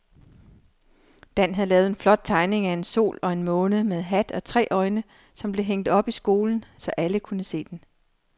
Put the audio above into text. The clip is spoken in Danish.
Dan havde lavet en flot tegning af en sol og en måne med hat og tre øjne, som blev hængt op i skolen, så alle kunne se den.